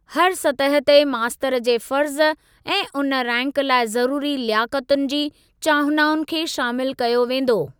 हर सतह ते मास्तर जे फ़र्ज़ ऐं उन रैंक लाइ ज़रूरी लियाकतुनि जी चाहनाउनि खे शामिल कयो वेंदो।